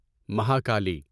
Mahakali